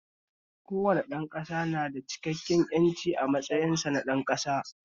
Kowane ɗan ƙasa na da cikakken ƴanci a matsayinsa na ɗan ƙasa